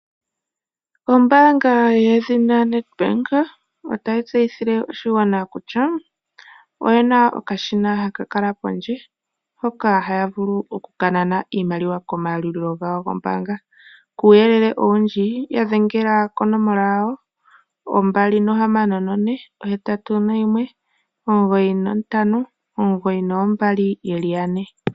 Ombaanga yedhina Nedbank otayi tseyithile oshigwana kutya oye na okashina haka kala pondje hoka haya vulu okunana iimaliwa komayalulilo gawo gombaanga. Kuuyele owundji ya dhengela konomola yawo 264819592222.